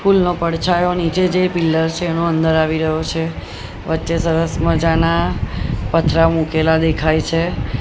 પૂલનો પડછાયો નીચે જે પિલર છે એનો અંદર આવી રહ્યો છે વચ્ચે સરસ મજાના પથરા મુકેલા દેખાઇ છે.